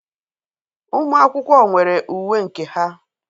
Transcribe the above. Ụmụ akwụkwọ nwere uwe nke ha.